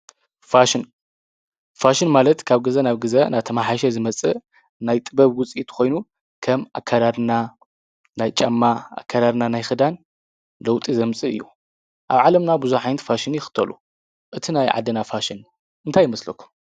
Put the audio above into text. ፋሽን፦ ፋሽን ማለት ካብ ግዘ ናብ ግዘ እናተማሐየሸ ዝመፅእ ናይ ጥበብ ውፅኢት ኮይኑ ከም ኣከዳድና፣ ናይ ጫማ፣ ኣከዳድና ናይ ኽዳን ለውጢ ዘምፅእ እዩ። ኣብ ዓለምና ብዙሕ ዓይነት ፋሽን ይኽተሉ። እቲ ናይ ዓድና ፋሽን እንታይ ይመስለኩም?